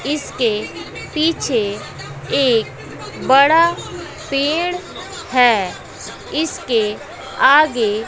इसके पीछे एक बड़ा पेड़ है इसके आगे--